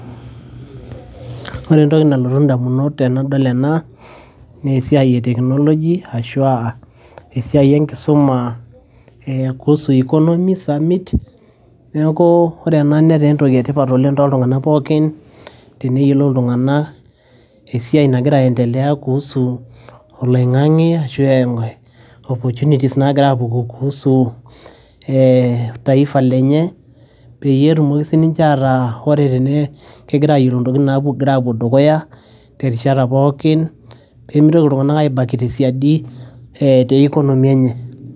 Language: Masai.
Ore entoki nalotu idamunot tenadol ena naa esiai ee technology ashu asiai enkisuma kuhusu economy, summit, neeku ore ena netaa entoki etipat oleng toltung'ana pookin , teneyiolou iltung'ana esiai nagira aiendelea kuhusu oloingange ashu opportunities nagira apuku kuhusu taifa, peyie etumoki sii ninche ataa ore tenegira ayiolo ntokitin napoiti dukuya terishata pookin , pemitoki iltung'ana aibaki tesiadi economy enye.